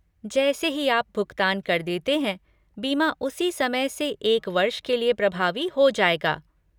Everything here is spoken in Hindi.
जैसे ही आप भुगतान कर देते हैं, बीमा उसी समय से एक वर्ष के लिए प्रभावी हो जाएगा।